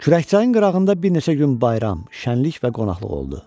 Kürəkçayın qırağında bir neçə gün bayram, şənlik və qonaqlıq oldu.